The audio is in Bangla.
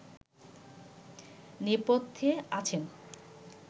নেপথ্যে আছেন